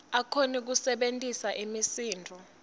akhone kusebentisa imisindvo